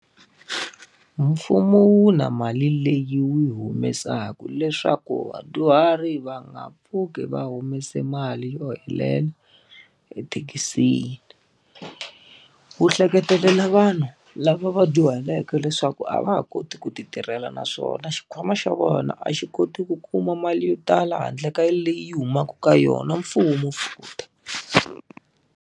Mfumo wu na mali leyi wu yi humesaka leswaku vadyuhari va nga pfuki va humese mali yo helela ethekisini. Wu hleketelela vanhu lava va dyuhaleke leswaku a va ha koti ku ti tirhela naswona xikhwama xa vona a xi koti ku kuma mali yo tala handle ka yaleyi humaka ka yona mfumo futhi.